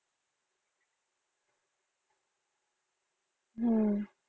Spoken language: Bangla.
হম